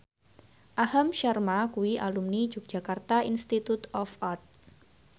Aham Sharma kuwi alumni Yogyakarta Institute of Art